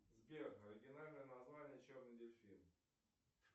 сбер оригинальное название черный дельфин